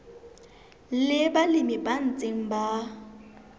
le balemi ba ntseng ba